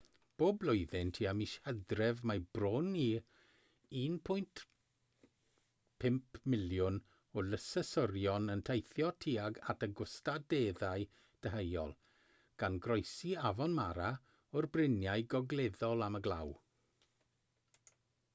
bob blwyddyn tua mis hydref mae bron i 1.5 miliwn o lysysorion yn teithio tuag at y gwastadeddau deheuol gan groesi afon mara o'r bryniau gogleddol am y glaw